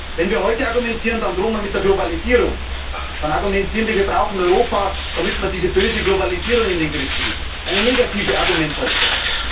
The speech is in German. Wenn wir heute argumentieren, dann drohen wir mit der Globalisierung, dann argumentieren wir, wir brauchen Europa, damit wir diese böse Globalisierung in den Griff kriegen eine negative Argumentation.